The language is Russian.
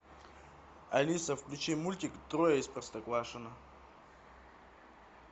алиса включи мультик трое из простоквашино